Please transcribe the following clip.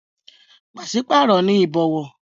Pàṣípàrọ̀ ni ìbọ̀wọ̀.